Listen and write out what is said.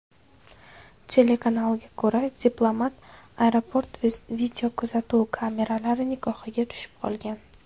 Telekanalga ko‘ra, diplomat aeroport videokuzatuv kameralari nigohiga tushib qolgan.